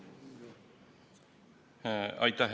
Aitäh!